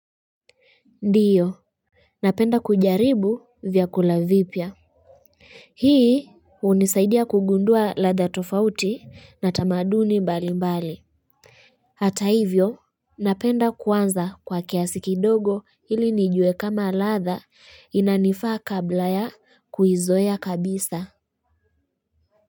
Ndiyo napenda kujaribu vyakula vipya hii hunisaidia kugundua ladha tofauti na tamaduni mbali mbali hata hivyo napenda kuanza kwa kiasi kidogo hili nijue kama ladha inanifaa kabla ya kuizoea kabisa.